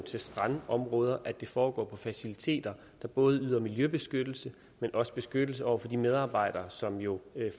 strandområder foregår på faciliteter der både yder miljøbeskyttelse men også beskyttelse over for de medarbejdere som jo